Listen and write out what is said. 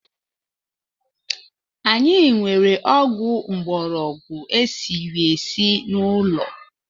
Anyị nwere ọgwụ mgborogwu e siri esi n’ụlọ